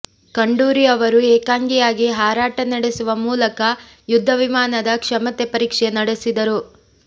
ಖಂಡೂರಿ ಅವರು ಏಕಾಂಗಿಯಾಗಿ ಹಾರಾಟ ನಡೆಸುವ ಮೂಲಕ ಯುದ್ಧ ವಿಮಾನದ ಕ್ಷಮತೆ ಪರೀಕ್ಷೆ ನಡೆಸಿದರು